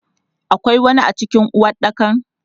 Akwai wani a cikin uwaɗɗakan?